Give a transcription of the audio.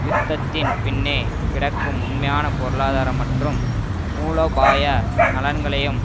யுத்தத்தின் பின்னே கிடக்கும் உண்மையான பொருளாதார மற்றும் மூலோபாய நலன்களையும்